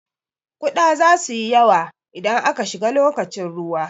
Kuɗa zasu yi yawa idan aka shiga lokacin ruwa.